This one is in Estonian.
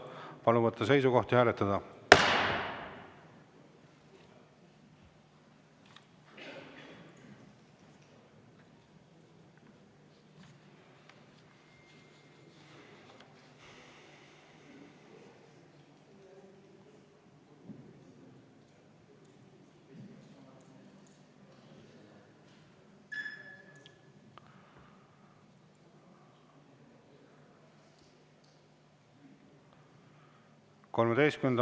Palun võtta seisukoht ja hääletada!